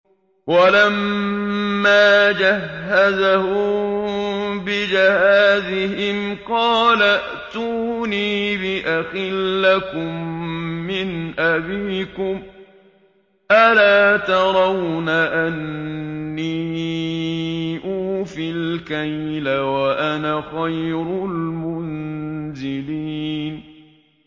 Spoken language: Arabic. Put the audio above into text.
وَلَمَّا جَهَّزَهُم بِجَهَازِهِمْ قَالَ ائْتُونِي بِأَخٍ لَّكُم مِّنْ أَبِيكُمْ ۚ أَلَا تَرَوْنَ أَنِّي أُوفِي الْكَيْلَ وَأَنَا خَيْرُ الْمُنزِلِينَ